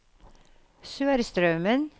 Sørstraumen